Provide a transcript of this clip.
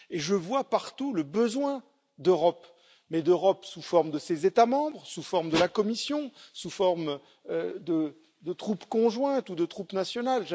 Je vois partout le besoin d'Europe mais d'Europe sous forme de ses États membres, sous forme de la Commission, sous forme de troupes conjointes ou de troupes nationales.